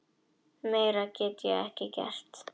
Meira get ég ekki gert.